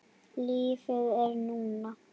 Lífið er núna!